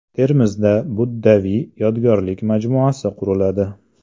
Termizda buddaviy yodgorlik majmuasi quriladi.